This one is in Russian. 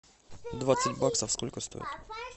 двадцать баксов сколько стоит